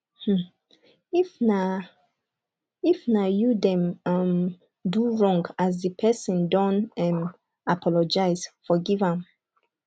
um if na if na you dem um do wrong as di person don um apologize forgive am